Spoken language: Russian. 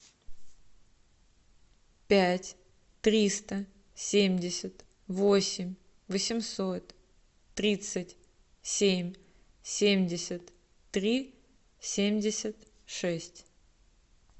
пять триста семьдесят восемь восемьсот тридцать семь семьдесят три семьдесят шесть